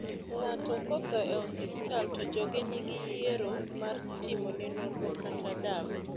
ngato kotho e osiptal to joge nigi yiero mar timone nonro kata dawe